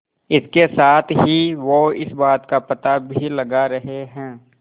इसके साथ ही वो इस बात का पता भी लगा रहे हैं